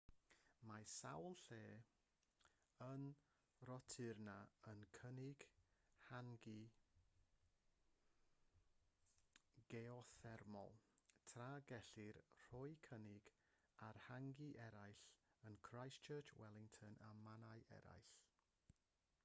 mae sawl lle yn rotorua yn cynnig hangi geothermol tra gellir rhoi cynnig ar hangi eraill yn christchurch wellington a mannau eraill